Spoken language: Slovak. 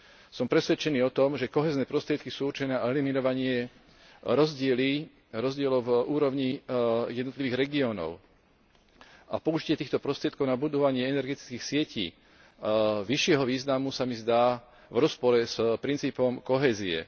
Som presvedčený o tom, že kohézne prostriedky sú určené na eliminovanie rozdielov v úrovni jednotlivých regiónov a použitie týchto prostriedkov na budovanie energetických sietí vyššieho významu sa mi zdá v rozpore s princípom kohézie.